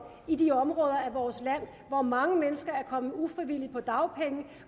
i de områder af vores land hvor mange mennesker er kommet ufrivilligt på dagpenge